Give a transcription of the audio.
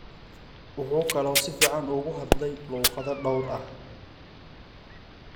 Wuxuu kaloo si fiican ugu hadlay luqado dhowr ah.